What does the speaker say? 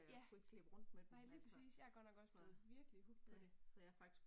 Ja! Nej lige præcis. Jeg er godt nok også blevet virkelig hooked på det